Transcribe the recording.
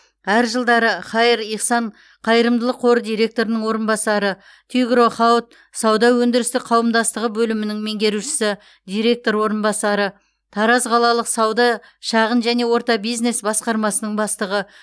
әр жылдары хаир ихсан қайырымдылық қоры директорының орынбасары тигро хауд сауда өндірістік қауымдастығы бөлімінің меңгерушісі директор орынбасары тараз қалалық сауда шағын және орта бизнес басқармасының бастығы